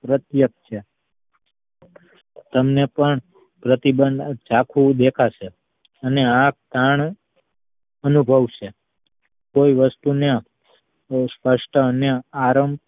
પ્રત્યક્ષ છે તમને પણ પ્રતિબંધ જાખું દેખાશે અને આંખ પણ અનુભવશે કોઈ વસ્તુ ને સ્પષ્ટ અને આરામ